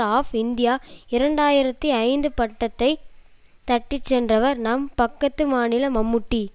of India இரண்டு ஆயிரத்தி ஐந்து பட்டத்தை தட்டிச்சென்றவர் நம் பக்கத்து மாநில மம்முட்டி